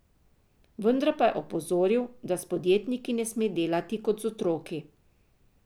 Vendar pa je opozoril, da s podjetniki ne sme delati kot z otroki.